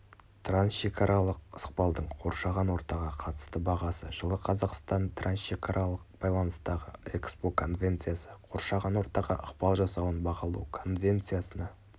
трансшекаралық ықпалдың қоршаған ортаға қатысты бағасы жылы қазақстан трансшекаралық байланыстағы экспо конвенциясы қоршаған ортаға ықпал жасауын бағалау конвенциясына